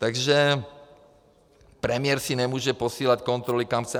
Takže premiér si nemůže posílat kontroly, kam chce.